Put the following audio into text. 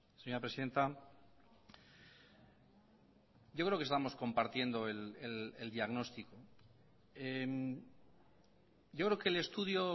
señora presidenta yo creo que estamos compartiendo el diagnóstico yo creo que el estudio